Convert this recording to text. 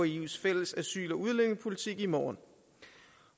eus fælles asyl og udlændingepolitik i morgen